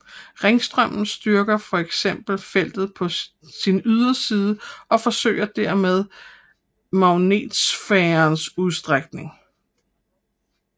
Ringstrømmen styrker for eksempel feltet på sin yderside og forøger derved magnetosfærens udstrækning